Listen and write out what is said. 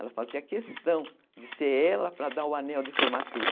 Ela fazia questão de ser ela para dar o anel de formatura.